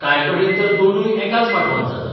कांय कडेन तर दोनूय एकाच माटवांत जातात.